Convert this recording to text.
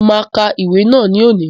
Mo ma ka ìwé náà ni òní.